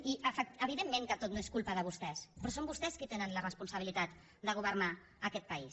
i evidentment que tot no és culpa de vostès però són vostès qui tenen la responsabilitat de governar aquest país